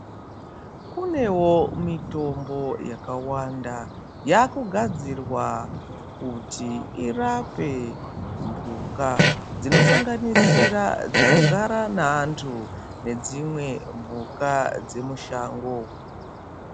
Kunewo mitombo yakawanda yakugadzirwa kuti irape mhuka dzinosanganisira dzinogara naantu nedzimwe mhuka dzemushango.